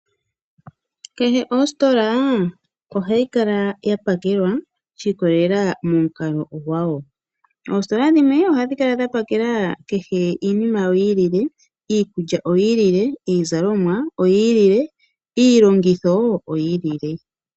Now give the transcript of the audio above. Kehe ostola ohayi kala yapakelwa shikolelela momukalo gwayo, Ostola dhimwe ohadhi kala dha pakela kehe iinima yawo yili le iikulya oyili le, iizalomwa oyilile iilongitho oyi lili le.